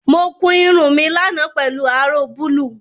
Mo kun irun mi lánàá pelu aró búlúù